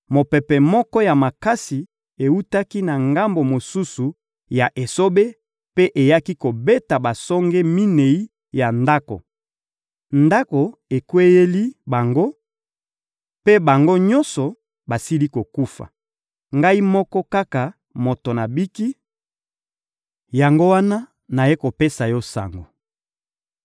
mopepe moko ya makasi ewutaki na ngambo mosusu ya esobe mpe eyaki kobeta basonge minei ya ndako. Ndako ekweyeli bango, mpe bango nyonso basili kokufa. Ngai moko kaka moto nabiki; yango wana nayei kopesa yo sango!»